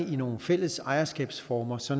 i nogle fælles ejerskabsformer så